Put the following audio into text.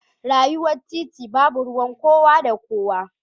Rayuwa titi babu ruwan kowa da kowa.